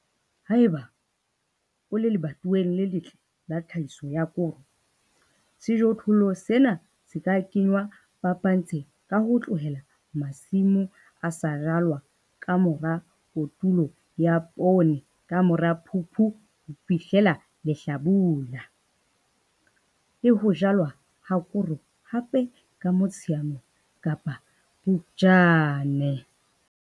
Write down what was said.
Haeba o le lebatoweng le letle la tlhahiso ya koro, sejothollo sena se ka kenngwa phapantshng ka ho tlohela masimo a sa jalwa ka mora kotulo ya poone ka mora Phupu ho fihlela lehlabula, le ho jalwa ha koro hape ka Motsheanong kapa Phupjane.